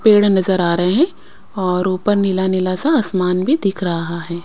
पेड़ नजर आ रहे हैं और ऊपर नीला नीला सा आसमान भी दिख रहा है.